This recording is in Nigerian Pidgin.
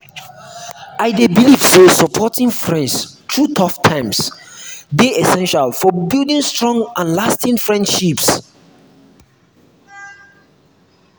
i dey believe say supporting friends through tough times dey essential for building strong and lasting friendships.